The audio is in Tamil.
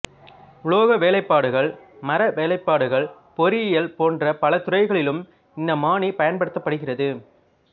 உலோக வேலைப்பாடுகள் மர வேலைப்பாடுகள் பொறியியல் போன்ற பல துறைகளிலும் இந்த மானி பயன்படுத்தப்படுகிறது